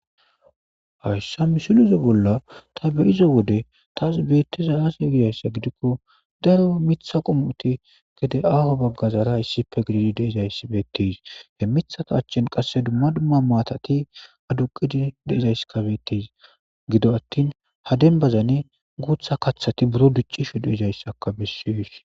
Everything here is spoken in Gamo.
Haysa misileza bolla ta be'iza wode tas betizay aze gizaysa gidikon daro Mitha qomoti gede aaho bagazara gidid issippe de'izaysi betes, he mithaza achan qase dumma dumma matati aduqid de'izaysika betes, gido atin ha dembazan guutha kathati buro dicishe de'izaysaka beses.